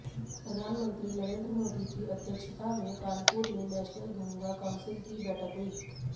प्रधानमंत्री नरेंद्र मोदी की अध्यक्षता में कानपुर में नेशनल गंगा काउंसिल की बैठक हुई